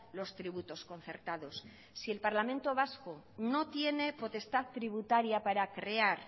los tributos concertados si el parlamento vasco no tiene potestad tributaria para crear